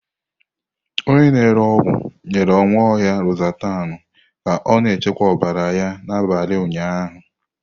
Onye na-ere ọgwụ nyere Nwaohia Lozatanu ka ọ na-achịkwa ọbara mgbali ya ụnyahụ.